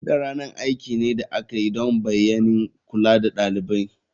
Bude ranar aiki ne da aka yi don bayanin kula da ɗalibai.